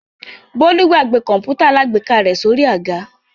Bólú gbàgbé kọ̀ǹpútà alágbèéká rẹ̀ sórí àga?